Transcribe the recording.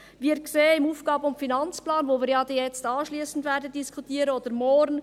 Wir sehen es im AFP, welchen wir anschliessend oder morgen diskutieren werden: